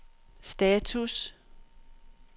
status